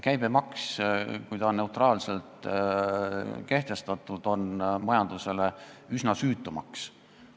Käibemaks, kui ta on neutraalselt kehtestatud, on majandusele üsna süütu maks.